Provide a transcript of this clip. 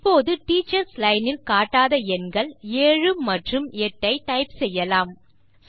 இப்போது teachers line இல் காட்டாத எண்கள் 7 மற்றும் 8 ஐ டைப் செய்யலாம்